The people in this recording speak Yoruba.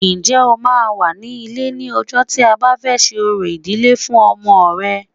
Ǹjẹ́ o máa wà ní ilé ní ọjọ́ tí a bá fẹ́ ṣe orò ìdílé fún ọmọ rẹ